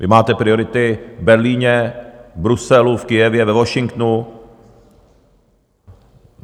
Vy máte priority v Berlíně, v Bruselu, v Kyjevě, ve Washingtonu.